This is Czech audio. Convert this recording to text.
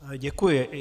Děkuji.